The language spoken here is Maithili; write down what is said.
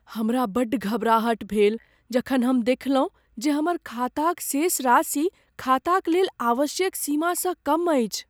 हमरा बड्ड घबराहट भेल जखन हम देखलहुँ जे हमर खाताक शेष राशि खाताक लेल आवश्यक सीमासँ कम अछि।